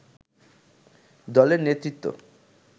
দলের নেতৃত্ব